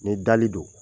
Ni dali don